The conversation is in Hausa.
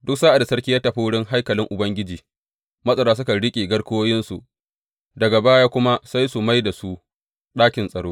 Duk sa’ad da sarki ya tafi wurin haikalin Ubangiji, matsara sukan riƙe garkuwoyinsu, daga baya kuma sai su mai da su ɗakin tsaro.